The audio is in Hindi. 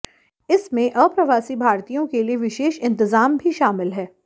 इसमें अप्रवासी भारतीयों के लिए विशेष इंतजाम भी शामिल है